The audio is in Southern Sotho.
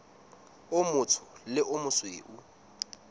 o motsho le o mosweu